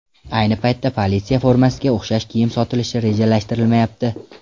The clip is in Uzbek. Ayni paytda, politsiya formasiga o‘xshash kiyim sotilishi rejalashtirilmayapti.